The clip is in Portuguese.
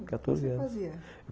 Com quatorze anos, o que você fazia?